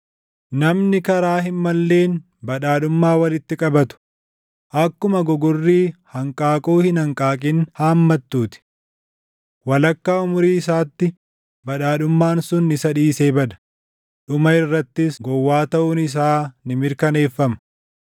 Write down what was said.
Namni karaa hin malleen badhaadhummaa walitti qabatu akkuma gogorrii hanqaaquu hin hanqaaqin hammattu ti. Walakkaa umurii isaatti badhaadhummaan sun isa dhiisee bada; dhuma irrattis gowwaa taʼuun isaa ni mirkaneeffama.